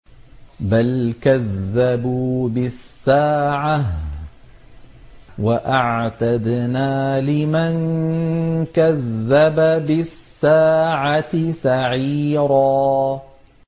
بَلْ كَذَّبُوا بِالسَّاعَةِ ۖ وَأَعْتَدْنَا لِمَن كَذَّبَ بِالسَّاعَةِ سَعِيرًا